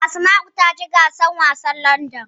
Asma'u ta ci gasar wasan Ludon.